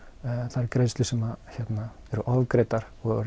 þær greiðslur sem eru ofgreiddar og